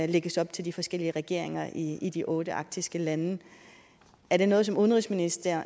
lægges op til de forskellige regeringer i i de otte arktiske lande er det noget som udenrigsministeren